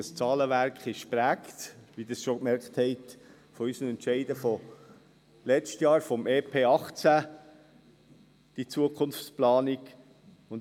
Und dieses Zahlenwerk, diese Zukunftsplanung ist von unseren Entscheiden vom letzten Jahr zum EP 2018 geprägt, wie Sie schon gemerkt haben.